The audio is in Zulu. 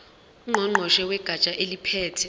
ngqongqoshe wegatsha eliphethe